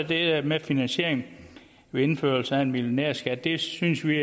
det med finansieringen ved indførelsen af en millionærskat det synes vi